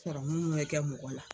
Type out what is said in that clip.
mun bɛ kɛ mɔgɔ la.